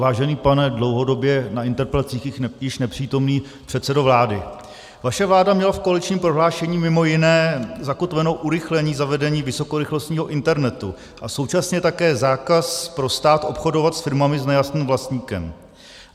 Vážený pane dlouhodobě na interpelacích již nepřítomný předsedo vlády, vaše vláda měla v koaličním prohlášení mimo jiné zakotveno urychlení zavedení vysokorychlostního internetu a současně také zákaz pro stát obchodovat s firmami s nejasným vlastníkem.